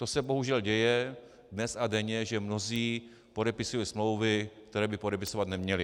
To se bohužel děje dnes a denně, že mnozí podepisují smlouvy, které by podepisovat neměli.